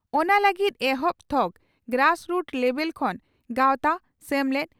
ᱚᱱᱟ ᱞᱟᱹᱜᱤᱫ ᱮᱦᱚᱵ ᱛᱷᱚᱠ (ᱜᱨᱟᱥᱨᱩᱴ ᱞᱮᱵᱮᱞ) ᱠᱷᱚᱱ ᱜᱟᱣᱛᱟ/ᱥᱮᱢᱞᱮᱫ